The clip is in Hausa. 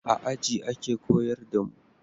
A aji ake koyar da mu